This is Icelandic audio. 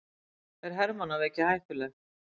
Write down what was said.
Er hermannaveiki hættuleg?